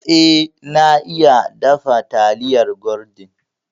Eh na iya dafa taliyar gwaldin